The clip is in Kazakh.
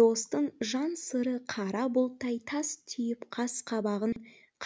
достың жан сыры қара бұлттай тас түйіп қас қабағын